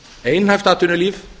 einhæft atvinnulíf